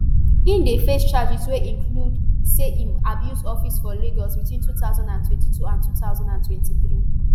e dey face charges wey include say im abuse office for lagos between two thousand and twenty-two and two thousand and twenty-three